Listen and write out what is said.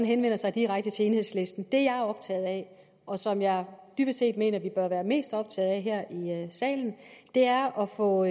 henvende sig direkte til enhedslisten det jeg er optaget af og som jeg dybest set mener vi bør være mest optaget af her i salen er at få